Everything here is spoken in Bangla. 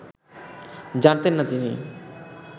জানতেন না তিনি